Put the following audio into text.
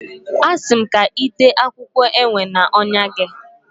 Asi m ka i tee akwukwo ewe na ọnyá gị.